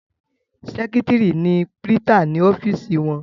Sẹ́kítrì ni prítà ní ọ́fìsì wọn.